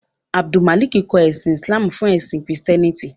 Abdulmalik kọ ẹ̀sìn Islamú fún ẹ̀sìn Kristiẹ́nìtì.